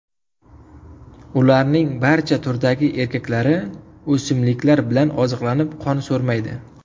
Ularning barcha turdagi erkaklari o‘simliklar bilan oziqlanib, qon so‘rmaydi.